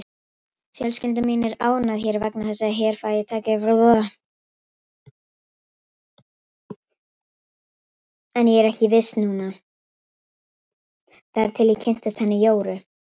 Fjölskylda mín er ánægð hér vegna þess að hér fæ ég tækifæri.